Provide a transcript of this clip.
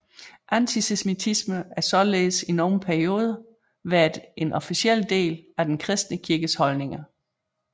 Antisemitisme har således i nogle perioder været en officiel del af den kristne kirkes holdninger